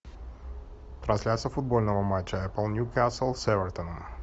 трансляция футбольного матча апл ньюкасл с эвертоном